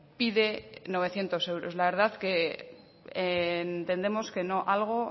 pide novecientos euros la verdad que entendemos que algo